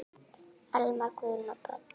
Almar, Guðrún og börn.